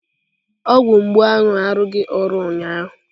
Ọgwụ mgbu ahụ arụghị ọrụ ụnyaahụ.